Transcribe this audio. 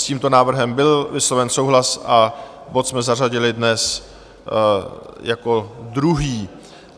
S tímto návrhem byl vysloven souhlas a bod jsme zařadili dnes jako druhý.